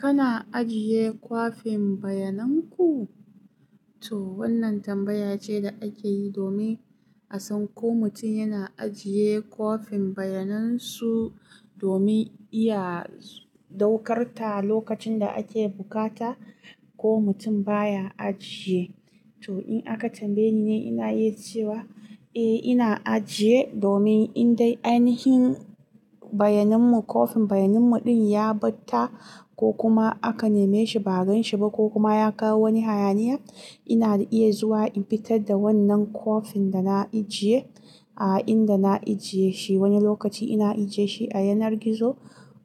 Kana ajiye kwafin bayanan ku? To wannan tambaya ce da ake yi domin a san ko mutum yana ajiye kwafin bayanan su domin iya ɗaukar ta lokacin da ake bukata ko mutum baya ajiye. To in aka tambaye ni, ina yi cewa eh ina ajiye domin in dai ainihin bayanin mu kwafin bayanin mu ɗin ya ɓata ko kuma aka nema shi ba a gan shi ba ko kuma ya kawo wani hayaniya, ina iya zuwa in fitar da wannan kwafin da na ajiye a inda na ajiye shi. Wani lokaci ina ajiye shi a yanar gizo,